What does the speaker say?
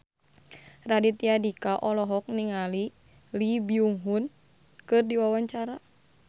Raditya Dika olohok ningali Lee Byung Hun keur diwawancara